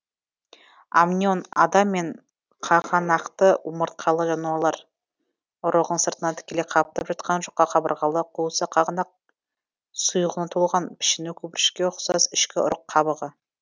амнион адам мен қағанақты омыртқалы жануарлар ұрығын сыртынан тікелей қаптап жатқан жұқа қабырғалы қуысы қағанақ сұйығына толған пішіні көпіршікке ұқсас ішкі ұрық қабығы